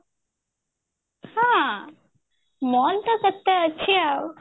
ହଁ mall ତ କେତେ ଅଛି ଆଉ